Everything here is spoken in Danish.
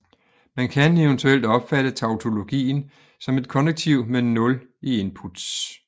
Man kan eventuelt opfatte tautologien som et konnektiv med nul inputs